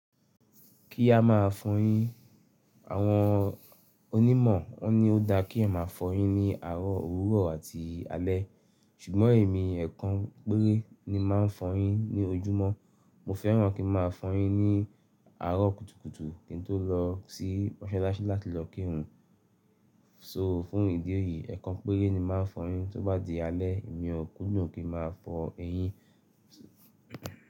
Kí á máa fọyín. Àwọn onímọ̀ wọ́n ní ó dá kí ẹyan máa fọyín ní àárọ̀, òwúrọ̀ àti alẹ́. Ṣùgbọ́n èmi ẹ̀kàn péré ni màá ń fọyín ní ojúmọ́. Mo fẹ́ràn kí n máa fọyín ní àárọ̀ kùtùkùtù kín tó lọ sí mọ́ṣáláṣí láti lọ kírun. So fún ìdí èyí, ẹ̀kàn péré ni màá fọyín. Tóbá di alẹ́, èmi ò kúndùn kí n máa fọ eyín.